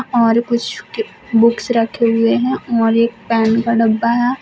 और कुछ बुक्स रखे हुए हैं और एक पेन का डब्बा है।